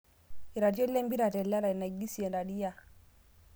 Iratiot lempira telerai; Naigisie, Raria